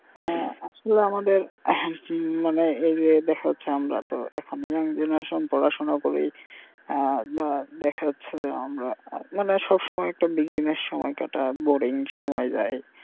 হ্যা আসলে আমাদের আহ মানে এই যে দেখা যাচ্ছে আমরা তো এখন young generation পড়াশোনা করেই আহ দেখা যাচ্ছে যে আমরা মানে সব সময় একটা business সময় কাটাই boring সময় যায়.